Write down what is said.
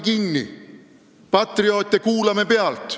Kuulame patrioote pealt.